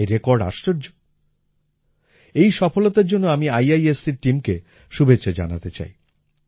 এই রেকর্ড আশ্চর্য এই সফলতার জন্য আমি IIScর টীম কে শুভেচ্ছা জানাতে চাই